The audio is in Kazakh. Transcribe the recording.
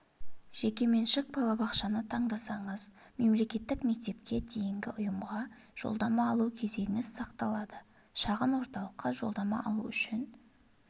жекеменшік балабақшаны таңдасаңыз мемлекеттік мектепке дейінгі ұйымға жолдама алу кезегіңіз сақталады шағын орталыққа жолдама алу үшін